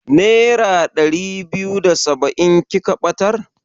Nera ɗari biyu da saba'in kika ɓatar?